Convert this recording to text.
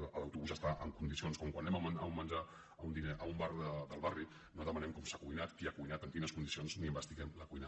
l’autobús està en condicions com quan anem a menjar a un bar del barri no demanem com s’ha cuinat qui ha cuinat en quines condicions ni investiguem la cuina